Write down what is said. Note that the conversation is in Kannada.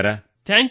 ಧನ್ಯವಾದಗಳು ಸರ್